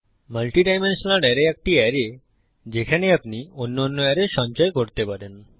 multidimensional বহুমাত্রিক array হল একটি অ্যারে যেখানে আপনি অন্যান্য অ্যারে সঞ্চয় করতে পারেন